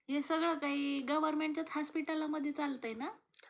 हे सगळं काही गव्हरमेंट हास्पिटलमध्ये चालतय ना?